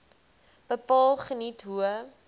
bepaal geniet hoë